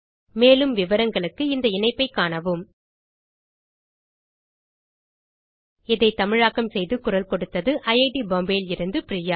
மேலும் விவரங்களுக்கு இந்த இணைப்பில் உள்ளன இதை தமிழாக்கம் செய்து குரல் கொடுத்தது ஐட் பாம்பே லிருந்து பிரியா